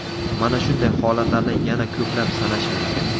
Mana shunday holatlarni yana ko‘plab sanash mumkin.